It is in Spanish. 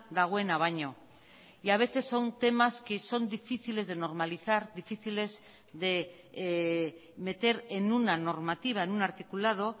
dagoena baino y a veces son temas que son difíciles de normalizar difíciles de meter en una normativa en un articulado